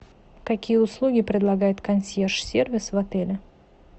какие услуги предлагает консьерж сервис в отеле